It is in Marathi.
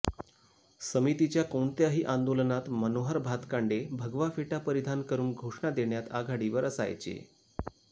समितीच्या कोणत्याही आंदोलनात मनोहर भातकांडे भगवा फेटा परिधान करुन घोषणा देण्यात आघाडीवर असायचे